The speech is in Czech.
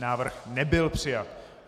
Návrh nebyl přijat.